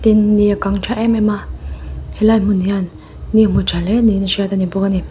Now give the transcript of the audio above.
ni a kang ṭha em em a helai hmun hian ni a hmu tha hle niin a hriat ani bawk ani.